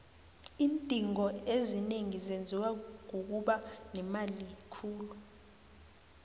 iindingo ezinengi zenziwa kukuba nemali khulu